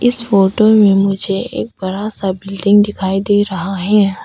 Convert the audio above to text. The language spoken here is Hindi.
इस फोटो में मुझे एक बड़ा बिल्डिंग दिखाई दे रहा है।